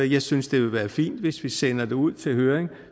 jeg synes det ville være fint hvis vi sender det ud til høring